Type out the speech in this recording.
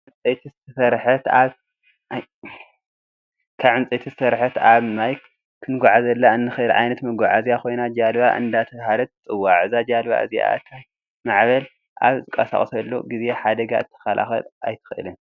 ካብ ዕንፀይቲ ዝተሰረሐት ኣብ ማይ ክንጉዓዘላ እንክእል ዓይነት መጉዓዝያ ኮይና ጀልባ እንዳተባሃለት ትፅዋዕ። እዛ ጀልባ እዚኣ እቲ ማዕበል ኣብ ዝቃሳቀሰሉ ግዜ ሓደጋ ክትካላከል ኣይትክእልን።